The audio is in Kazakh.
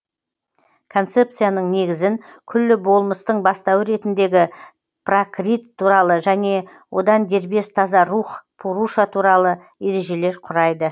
концепцияның негізін күллі болмыстың бастауы ретіндегі пракрит туралы және одан дербес таза рух пуруша туралы ережелер құрайды